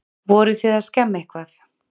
Voruð þið að skemma eitthvað?